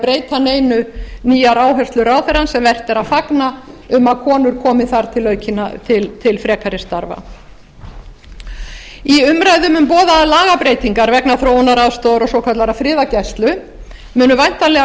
breyta neinu nýjar áherslur ráðherrans sem vert er að fagna um að konur komi þar til frekari starfa í umræðum um boðaðar lagabreytingar vegna þróunaraðstoðar og svokallaðrar friðargæslu munu væntanlega